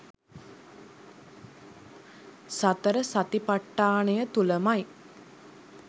සතර සතිපට්ඨානය තුළමයි.